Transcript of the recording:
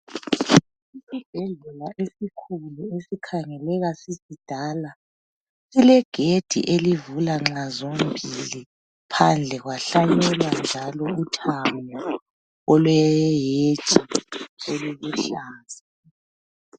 Isibhedlela esikhulu esikhangeleka sisidala silegedi elivula nxazombili phandle kwahlanyelwa njalo uthango olwe hedge oluluhlaza